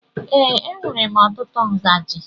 Ee, enwèrè m ọtụtụ ngaji.